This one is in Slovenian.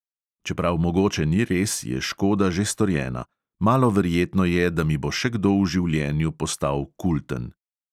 Čeprav mogoče ni res, je škoda že storjena: malo verjetno je, da mi bo še kdo v življenju postal kulten.